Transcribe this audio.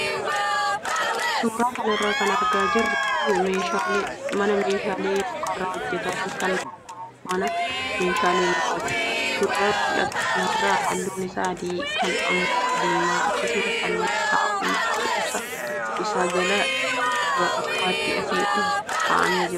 Suuraa kanarraa kan argaa jirru kun mana meeshaalee mukarraa hojjataman kan gurguru mana meeshaalee mukaati. Suuraa mul'atu kanarraa halluun isaa adii, kaan immoo diimaa akkasumas haalli taa'umsa isaa jalaa gubbaatti asii ol kaa'amee jira.